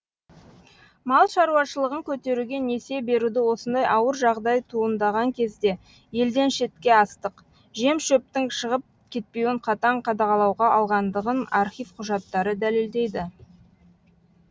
мал шаруашылығын көтеруге несие беруді осындай ауыр жағдай туындаған кезде елден шетке астық жем шөптің шығып кетпеуін қатаң қадағалауға алғандығын архив құжаттары дәлелдейді